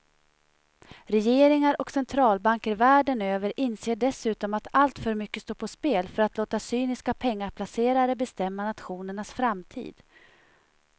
Regeringar och centralbanker världen över inser dessutom att alltför mycket står på spel för att låta cyniska pengaplacerare bestämma nationernas framtid.